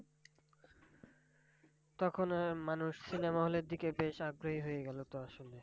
তখন আহ মানুষ cinema hall এর দিকে বেশ আগ্রহী হয়ে গেলো তো আসলে।